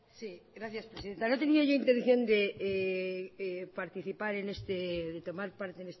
sí gracias presidenta no tenía yo intención de participar de tomar parte en